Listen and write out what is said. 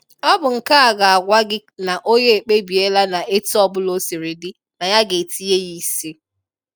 ọ bụ nke a ga-agwa gị na onye a ekpebiela na etu ọbụla o siri dị na ya ga-etinye ya isi.